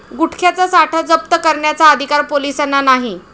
गुटख्याचा साठा जप्त करण्याचा अधिकार पोलिसांना नाही!'